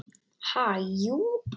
Ha, jú.